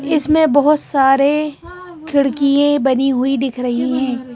इसमें बहोत सारे खिड़कीये बनी हुई दिख रही है।